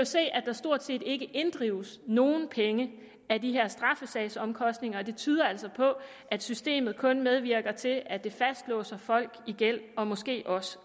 se at der stort set ikke inddrives nogle af de her straffesagsomkostninger og det tyder altså på at systemet kun medvirker til at fastlåse folk i gæld og måske også